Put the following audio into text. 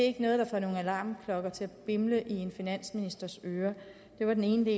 ikke noget der får nogle alarmklokker til at bimle i en finansministers ører det var den ene